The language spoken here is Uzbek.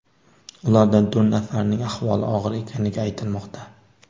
Ulardan to‘rt nafarining ahvoli og‘ir ekanligi aytilmoqda .